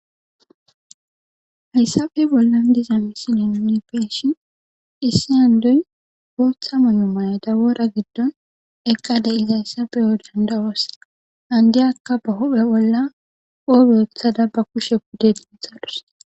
Hayissape bollani deyiza misileni nun beyishini issi indoyi botha mayo mayada wora giddoni eqidayisa beyo dandayosi indiyaka ba huphe bolla qobe wothada ba kushe pude denthadus